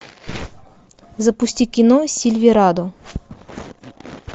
запусти кино сильверадо